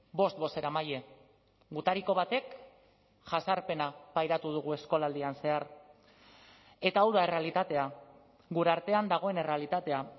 bost bozeramaile gutariko batek jazarpena pairatu dugu eskolaldian zehar eta hau da errealitatea gure artean dagoen errealitatea